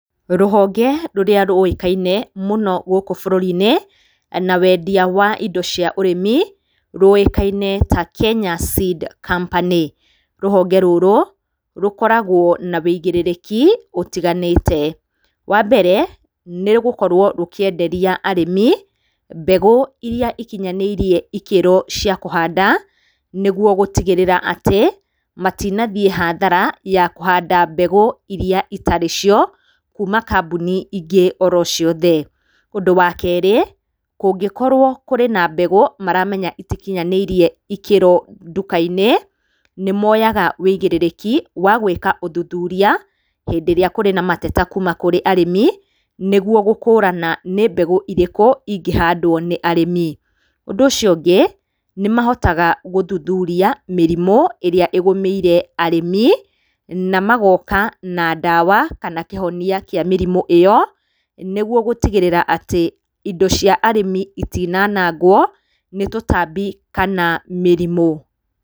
Rũhonge rũrĩa rũĩkaine mũno gũkũ bũrũri-inĩ na wendia wa indo cia ũrĩmi rũĩkaine ta Kenya Seed Company. Rũhonge rũrũ rũkoragwo na ũigĩrĩrĩki ũtiganĩte. Wa mbere nĩ gũkorwo rũkĩenderia arĩmi mbegũ iria ikinyanĩirie ikĩro cia kuhanda nĩguo gũtigĩrĩra atĩ matinathiĩ hathara ya kũhanda mbegũ iria itarĩ cio kuuma kambuni ingĩ oro ciothe. Ũndũ wa keerĩ, kũngĩkorwo kwĩ na mbegũ maramenya itikinyanĩirie ikĩro nduka-inĩ, nĩmoyaga ũigĩrĩrĩki wa gwĩka ũthuthuria hĩndĩ ĩrĩa kũrĩ na mateta kuuma kũrĩ arĩmi, nĩguo gũkũrana nĩ mbegũ irĩkũ ingĩhandwo nĩ arĩmi. Ũndũ ũcio ũngĩ, nĩmahotaga guthuthuria mĩrimũ ĩrĩa ĩgũmĩire arĩmi, na magoka na ndawa kana kĩhonia kĩa mĩrimũ ĩyo nĩguo gũtigĩrĩra atĩ indo cia arĩmi itinaanangwo nĩ tũtambi kana mĩrimu.